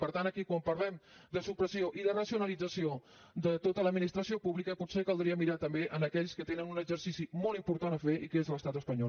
per tant aquí quan parlem de supressió i de racionalització de tota l’administració pública potser caldria mirar també aquell que té un exercici molt important a fer i que és l’estat espanyol